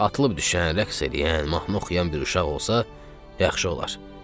Atılıb düşən, rəqs eləyən, mahnı oxuyan bir uşaq olsa, yaxşı olar.